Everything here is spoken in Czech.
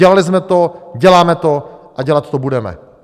Dělali jsme to, děláme to a dělat to budeme.